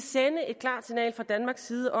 fra danmarks side